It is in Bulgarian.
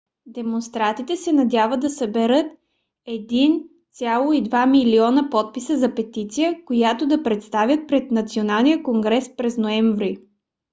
демонстрантите се надяват да съберат 1,2 милиона подписа за петиция която да представят пред националния конгрес през ноември